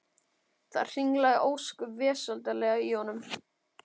Það hringlaði ósköp vesældarlega í honum.